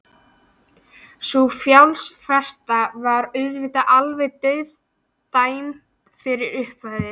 Sú fjárfesting var auðvitað alveg dauðadæmd frá upphafi.